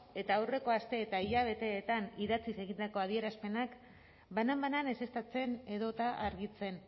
eta aurreko aste eta hilabeteetan idatziz egindako adierazpenak banan banan ezeztatzen edota argitzen